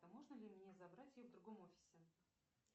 а можно ли мне забрать ее в другом офисе